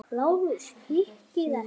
LÁRUS: Hikið ekki!